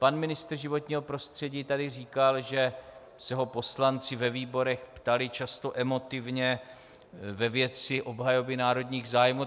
Pan ministr životního prostředí tady říkal, že se ho poslanci ve výborech ptali často emotivně ve věci obhajoby národních zájmů.